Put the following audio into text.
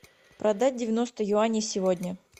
продать девяносто юаней сегодня